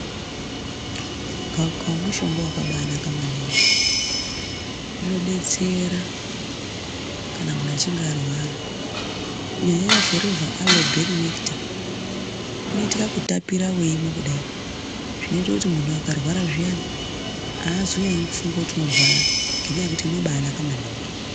Gawakawa mushonga wakabanaka maningi. Inodetsera kana munhu achinge arwara. Kunyanya nyanya Forevha Alo Bheri Nekita inoite kakutapira weimwa kudai, zvinoita kuti munhu akarwa zviyani haazonyanyi kufunga kuti unorwara, ngenyaya yekuti inobanaka maningi.